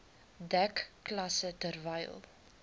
dek klasse terwyl